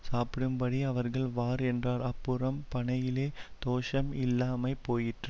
சாப்பிடும்படி அவர்களுக்கு வார் என்றான் அப்புறம் பனையிலே தோஷம் இல்லாமைப்போயிற்று